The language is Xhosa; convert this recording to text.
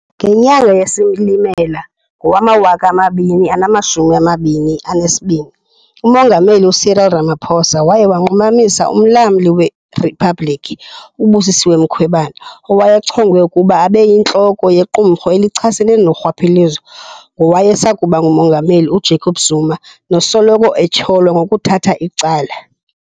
Ngenyanga yeSilimela ngowama-2022, uMongameli Cyril Ramaphosa waye wanqumamisa uMlamli weRiphabhliki uBusisiwe Mkhwebane, owayechongwe ukuba abe yintloko yequmrhu elichasene norhwaphilizo ngowayesakuba nguMongameli uJacob Zuma nosoloko etyholwa ngokuthatha icala.